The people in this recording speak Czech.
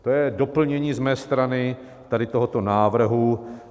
To je doplnění z mé strany tady tohoto návrhu.